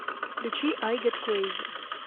включи ай гет крейзи